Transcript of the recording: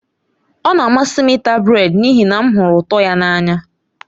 Ọ na-amasị m ịta brèd n'ihi na m hụrụ ụtọ ya n'anya.